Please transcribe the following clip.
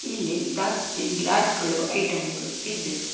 ಇಲ್ಲಿ ದಾಸ್ತಿ ಗ್ಲಾಸ್ ಗಳು ಐಟಂ ಗಳು ಇದ್ದೆ.